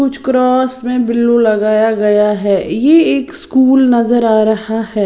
कुछ क्रॉस में ब्लू लगाया गया है ये एक स्कूल नजर आ रहा है।